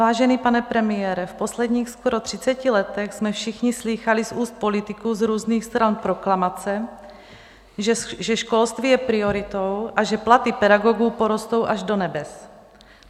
Vážený pane premiére, v posledních skoro třiceti letech jsme všichni slýchali z úst politiků z různých stran proklamace, že školství je prioritou a že platy pedagogů porostou až do nebes.